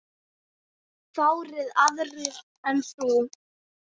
Fáir aðrir en þú.